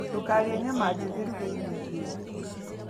Ndũkarĩe nyama njĩthĩ ruga irio ihĩe